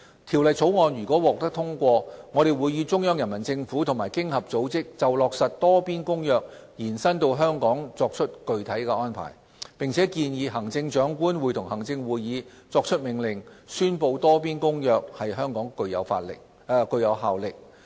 《條例草案》如獲通過，我們會與中央人民政府和經合組織就落實《多邊公約》延伸至香港作具體安排，並建議行政長官會同行政會議作出命令，宣布《多邊公約》在香港具有效力。